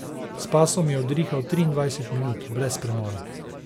S pasom je udrihal triindvajset minut, brez premora.